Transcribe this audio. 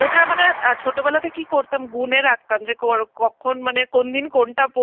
ওটা মানে অ্যাঁ ছোটবেলা থেকেই করতাম, মনে রাখতাম যে করা~ কখন মানে কোন দিন কোনটা করব